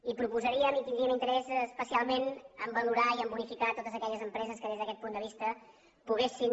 i proposaríem i tindríem interès especialment a valorar i a unificar totes aquelles empreses que des d’aquest punt de vista poguessin